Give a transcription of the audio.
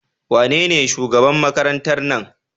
Wanene shugaban Makarantar nan?